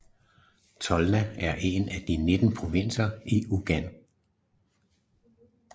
Tolna er en af de 19 provinser i Ungarn